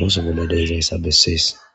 ooso bolla de'iyaysa beses.